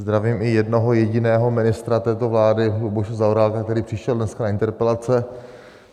Zdravím i jednoho jediného ministra této vlády Luboše Zaorálka, který přišel dneska na interpelace.